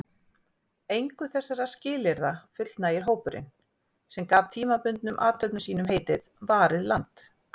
Engu þessara skilyrða fullnægir hópurinn, sem gaf tímabundnum athöfnum sínum heitið Varið land.